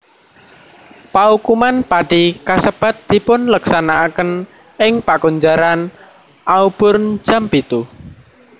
Paukuman pati kasebat dipun leksanakaken ing Pakunjaran Auburn jam pitu